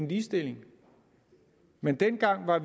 ligestilling men dengang var